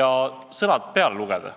ja neile sõnad peale lugeda.